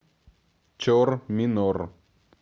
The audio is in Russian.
чор минор